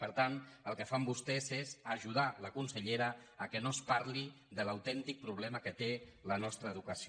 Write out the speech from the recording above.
per tant el que fan vos·tès és ajudar la consellera que no es parli de l’autèntic problema que té la nostra educació